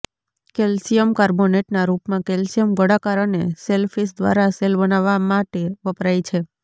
calcium કાર્બોનેટના રૂપમાં calcium ગોળાકાર અને શેલફિશ દ્વારા શેલ બનાવવા માટે વપરાય છે